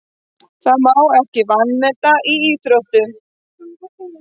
Það má maður ekki vanmeta í íþróttum.